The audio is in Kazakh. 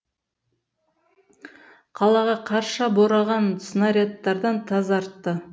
қалаға қарша бораған снарядтардан тазартты